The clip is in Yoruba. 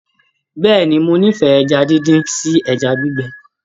Bẹ́ẹ̀ni, mo n'ifẹ ẹja díndín sí ẹja gbígbẹ.